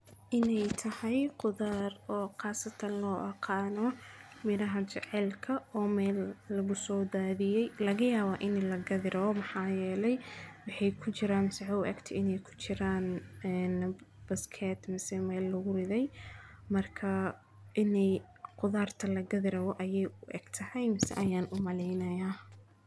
maxay tahay qudaar oo khaasatan loo oqaano mid ahaan jecelka oo meel lagu soo daadiyay, laga yaabaa inay la gadiraw. Maxaa yeelay bixi ku jiraan sax u eg ti inay ku jiraan ee baskeet masii meel laguu riday. Markaa inay qudaarta la gadiraw ayay u eg tahay mis aan u maleynaya.